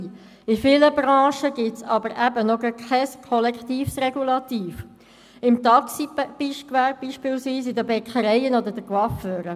In vielen Branchen gibt es aber eben gerade noch kein kollektives Regulativ: im Taxigewerbe beispielsweise, in den Bäckereien oder bei den Coiffeuren.